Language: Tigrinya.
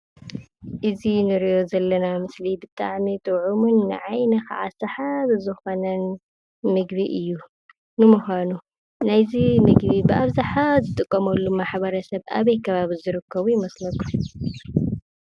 እዙይ እንርእዮ ዘለና ምስሊ ብጣዕሚ ጥዑሙን ንዓይንካ ሰሓቢ ዝኮነን ምግቢ እዩ። ንምኳኑ ናይ እዚ ምግቢ ብኣብዝሓ ዝጥቀመሉ ማሕበረሰብ ኣበይ ከባቢ ዝርከቡ ይመስለኩም?